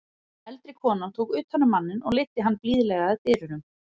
Eldri konan tók utan um manninn og leiddi hann blíðlega að dyrunum.